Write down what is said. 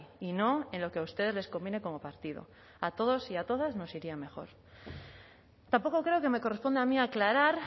y no en lo que a ustedes les conviene como partido a todos y a todas nos iría mejor tampoco creo que me corresponde a mí aclarar